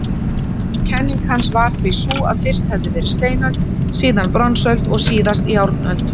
Kenning hans var því sú að fyrst hefði verið steinöld, síðan bronsöld og síðast járnöld.